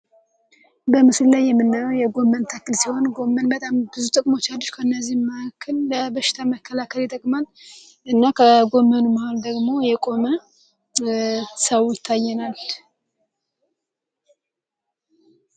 በምስል ላይ የምናያው የጎመን ታክል ሲሆን ጎመን በጣም ብዙ ጥቅሞች አድጅ ከእነዚህ ማክን ለበሽ ተመከላከር የጠቅማን እና ከጎመኑ መህል ደግሞ የቆመ ሰውታይናል።